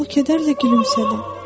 O kədərlə gülümsədi.